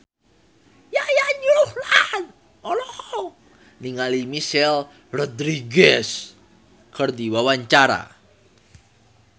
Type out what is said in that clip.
Yayan Ruhlan olohok ningali Michelle Rodriguez keur diwawancara